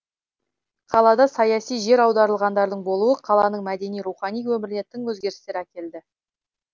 қалада саяси жер аударылғандардың болуы қаланың мәдени рухани өміріне тың өзгерістер әкелді